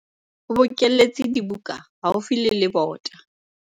o bokelletse dibuka haufi le lebota